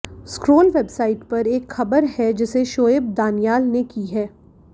scroll website पर एक ख़बर है जिसे शोएब दानियाल ने की है